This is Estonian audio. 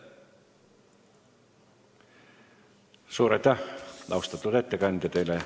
Suur aitäh, austatud ettekandja!